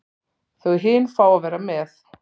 Þau hin fá að vera með.